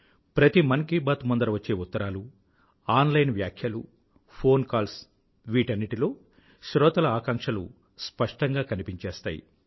ప్రతి మన్ కీ బాత్ ముందర వచ్చే ఉత్తరాలు ఆన్ లైన్ వ్యాఖ్యలు ఫోన్ కాల్స్ వీటన్నింటిలో శ్రోతల ఆకాంక్షలు స్పష్టంగా కనిపించేస్తాయి